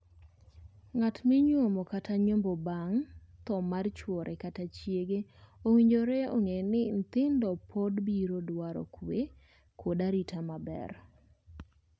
Ng'at ma inyuomo kata nyombo bang' thoo mar chuore kata chiege owinjore ong'ee ni nyithindo pod biro dwaro kwe kod arita maber.